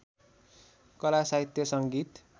कला साहित्य सङ्गीत